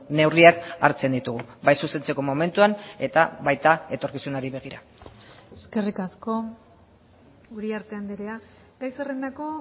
neurriak hartzen ditugu bai zuzentzeko momentuan eta baita etorkizunari begira eskerrik asko uriarte andrea gai zerrendako